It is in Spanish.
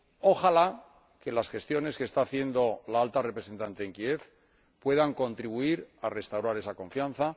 Ojalá que las gestiones que está haciendo la Alta Representante en Kiev puedan contribuir a restaurar esa confianza.